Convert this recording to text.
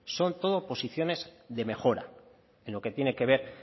son todo posiciones de mejora en lo que tiene que ver